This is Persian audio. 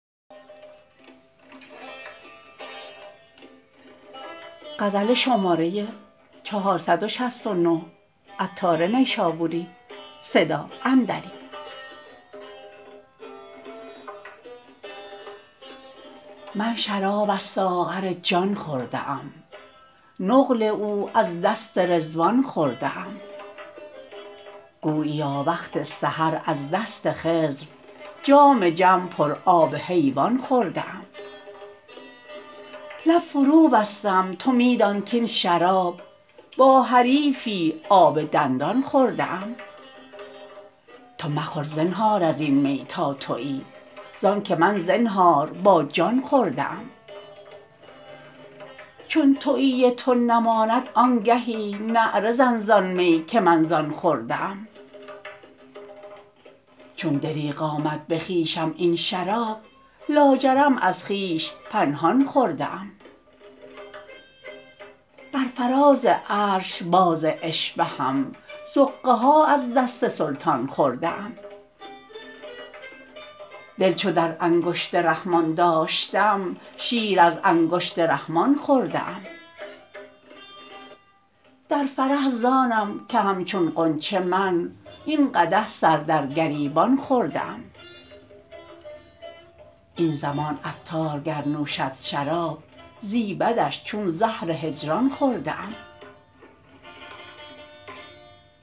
من شراب از ساغر جان خورده ام نقل او از دست رضوان خورده ام گوییا وقت سحر از دست خضر جام جم پر آب حیوان خورده ام لب فرو بستم تو می دان کین شراب با حریفی آب دندان خورده ام تو مخور زنهار ازین می تا تویی زآن که من زنهار با جان خورده ام چون تویی تو نماند آن گهی نعره زن زآن می که من زآن خورده ام چون دریغ آمد به خویشم این شراب لاجرم از خویش پنهان خورده ام بر فراز عرش باز اشهبم زقه ها از دست سلطان خورده ام دل چو در انگشت رحمان داشتم شیر از انگشت رحمان خورده ام در فرح زآنم که همچون غنچه من این قدح سر در گریبان خورده ام این زمان عطار گر نوشد شراب زیبدش چون زهر هجران خورده ام